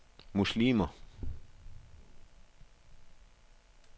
muslimer